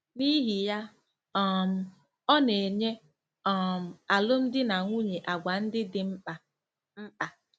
N'ihi ya, um ọ na-enye um alụmdi na nwunye àgwà ndị dị mkpa. mkpa.